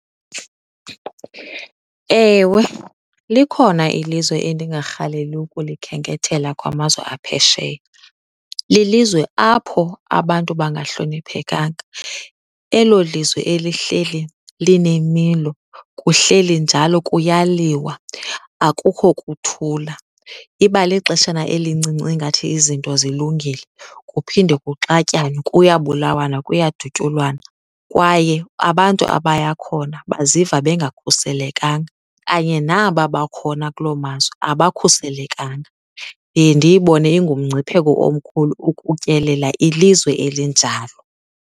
Ewe, likhona ilizwe endingarhaleli ukulikhenkethela kwamazwe aphesheya. Lilizwe apho abantu bangahloniphekanga. Elo lizwe elihleli linemilo, kuhleli njalo kuyaliwa akukho kuthula. Iba lixeshana elincinci ingathi izinto zilungile kuphinde kuxatyanwe kuyabulawana, kuyadutyulwana kwaye abantu abaya khona baziva bengakhuselekanga kanye naba bakhona kulo mazwe abakhuselekanga. Ndiye ndiyibone ingumngcipheko omkhulu ukutyelela ilizwe elinjalo.